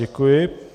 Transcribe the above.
Děkuji.